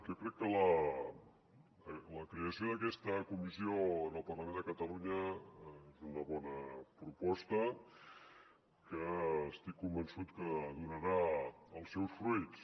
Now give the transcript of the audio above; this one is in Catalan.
jo crec que la creació d’aquesta comissió en el parlament de catalunya és una bona proposta que estic convençut que donarà els seus fruits